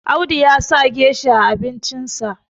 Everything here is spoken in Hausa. Audu ya sa gesha a abincinsa